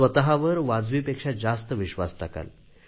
स्वतवर वाजवीपेक्षा जास्त विश्वास टाकाल